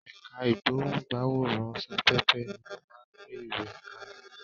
Ẹ̀ka ìgbóhùn-gbáwòrán-sáfẹ́fẹ́ ni ó máa ń gbé ìròyìn kalẹ̀.